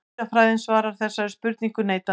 Dýrafræðin svarar þessari spurningu neitandi.